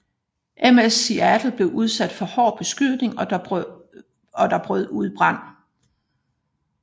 MS Seattle blev udsat for hård beskydning og der brød ud brand